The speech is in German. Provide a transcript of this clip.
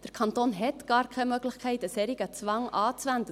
Der Kanton hat gar keine Möglichkeit, einen solchen Zwang anzuwenden.